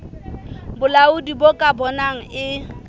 bolaodi bo ka bonang e